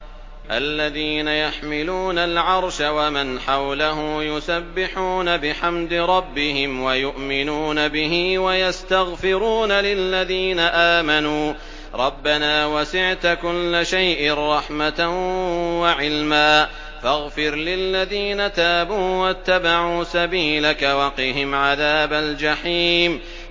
الَّذِينَ يَحْمِلُونَ الْعَرْشَ وَمَنْ حَوْلَهُ يُسَبِّحُونَ بِحَمْدِ رَبِّهِمْ وَيُؤْمِنُونَ بِهِ وَيَسْتَغْفِرُونَ لِلَّذِينَ آمَنُوا رَبَّنَا وَسِعْتَ كُلَّ شَيْءٍ رَّحْمَةً وَعِلْمًا فَاغْفِرْ لِلَّذِينَ تَابُوا وَاتَّبَعُوا سَبِيلَكَ وَقِهِمْ عَذَابَ الْجَحِيمِ